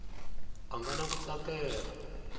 a nga na ku tsakela